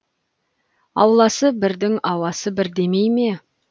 ауласы бірдің ауасы бір демей ме